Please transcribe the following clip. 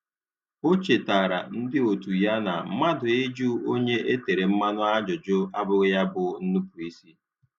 O chetara ndị otu ya na mmadụ ịjụ onye e tere mmanụ ajụjụ abụghị ya bụ nnupụisi